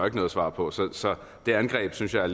ikke noget svar på så det angreb synes jeg